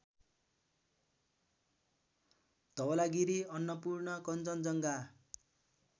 Dhaulagiri Annapurna Kanchenjunga